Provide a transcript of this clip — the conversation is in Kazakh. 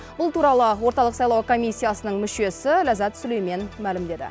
бұл туралы орталық сайлау комиссиясының мүшесі ләззат сүлеймен мәлімдеді